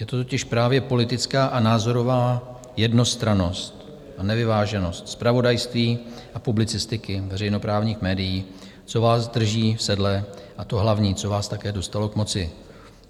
Je to totiž právě politická a názorová jednostrannost a nevyváženost zpravodajství a publicistiky veřejnoprávních médií, co vás drží v sedle, a to hlavní, co vás také dostalo k moci.